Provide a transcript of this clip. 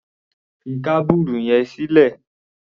Fi kábùrù yẹn sílẹ̀!